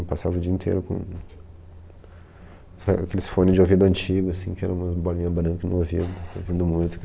Eu passava o dia inteiro com essa, aqueles fones de ouvido antigo, assim, que eram umas bolinhas brancas, no ouvido ouvindo música.